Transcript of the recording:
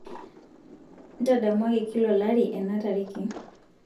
ntadamuaki kila olari ena tariki